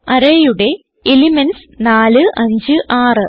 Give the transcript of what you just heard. arrayയുടെ elements 4 5 6